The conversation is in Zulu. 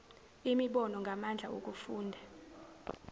imibono ngamandla okufunda